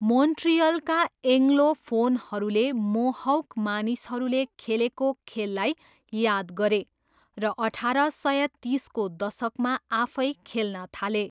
मोन्ट्रियलका एङ्ग्लोफोनहरूले मोहौक मानिसहरूले खेलेको खेललाई याद गरे र अठार सय तिसको दशकमा आफै खेल्न थाले।